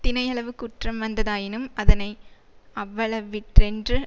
தினையளவு குற்றம் வந்ததாயினும் அதனை அவ்வளவிற்றென்று